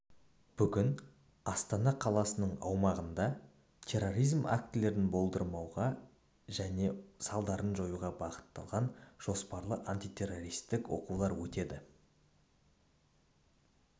бүгін астана қаласының аумағында терроризм актілерін болдырмауға және оның салдарын жоюға бағытталған жоспарлы антитеррористік оқулар өтеді